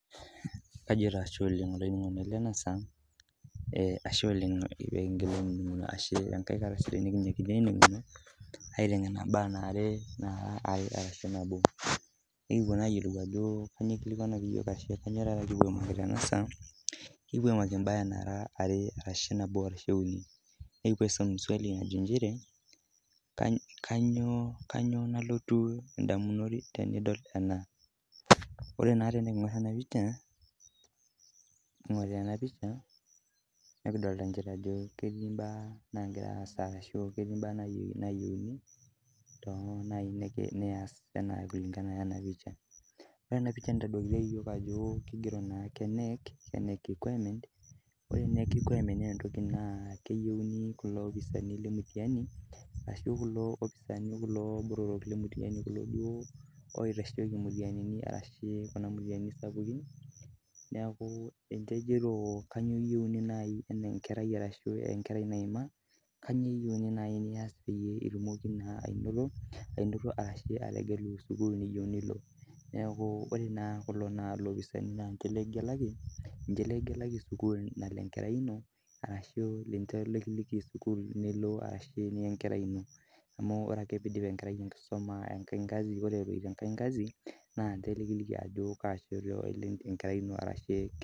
Kajo taa ashe olaininingoni lai lenasaa, eh ashe oleng pee kingila ainininguno ashe enkae kata sidai nikinyakita ainininguno, aitengena imbaa naara are ashu, nabo ,nikipwo,,naa ayiolou ajo kainyioo ikilikuanaki iyiok ashu, kainyioo taata kipwo aimaki tena saa kipwo aimaki imbaa naara are, ashu, nabo ashu uni. Nikipwo aisum swali najo nchere, kainyioo nalotu indamunot tenidol ena, ore naa tenikingor ena pisha, ore ena pisha, nikidolita nchere ketii imbaa nagira aasa arashu ketii imbaa nayieuni too naaji neasi kulingana ena pisha. Ore ena pisha nitolita iyiok kigero naake knec requirement ore knec requirement naa etoki naa keyieuni kulo lopisaani lemitahani ashu kulo opisaani kuloo botorok lemitahani ashu kulo duo loitasheki mitihanini ashu kuna mitihanini sapukin, neaku kejito kainyioo eyieuni naaji enaa enkerai arashu enkerai naiima kainyioo eyieuni naaji niasi pee itumoki naaji anoto ashu peyie itumoki ategulu sukuul nayieu nelo neaku ore kulo naa lopisaani laa ninche nikigelaki, ninche likigelaki sukuul nalo enkerai ino arashu ninche likiliki sukuul nigelu arashu niya enkerai ino amu ore ake pee idip enkerai enkisuma egasi eloito ekae gasi naa ninche likiliki ah shoto elo enkerai ino arashi.